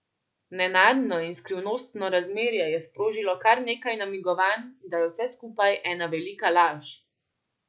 Nenadno in skrivnostno razmerje je sprožilo kar nekaj namigovanj, da je vse skupaj ena velika laž.